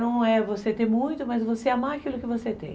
Não é você ter muito, mas você amar aquilo que você tem.